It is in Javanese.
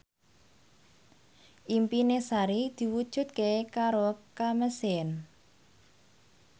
impine Sari diwujudke karo Kamasean